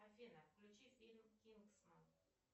афина включи фильм кингсман